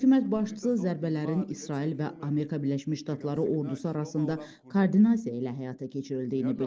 Hökumət başçısı zərbələrin İsrail və Amerika Birləşmiş Ştatları ordusu arasında koordinasiya ilə həyata keçirildiyini bildirib.